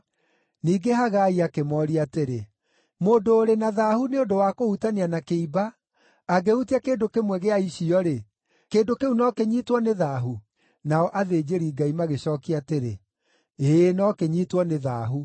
Ningĩ Hagai akĩmooria atĩrĩ, “Mũndũ ũrĩ na thaahu nĩ ũndũ wa kũhutania na kĩimba, angĩhutia kĩndũ kĩmwe gĩa icio-rĩ, kĩndũ kĩu no kĩnyiitwo nĩ thaahu?” Nao athĩnjĩri-Ngai magĩcookia atĩrĩ, “Ĩĩ, no kĩnyiitwo nĩ thaahu.”